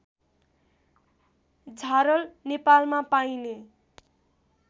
झारल नेपालमा पाइने